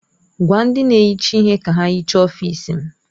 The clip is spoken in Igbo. Gwa ndị na-ehicha ihe ka ha hichaa ọfịs m!